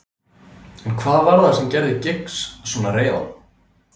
En hvað var það sem gerði Giggs svona reiðan?